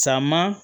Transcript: Caman